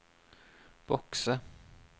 bokse